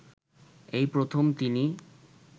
এই প্রথম তিনি